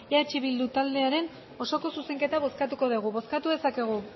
eh bildu taldearen osoko zuzenketa bozkatuko dugu bozkatu dezakegu